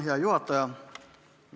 Hea juhataja!